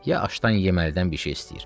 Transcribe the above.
Ya aşdan yeməlidən bir şey istəyir.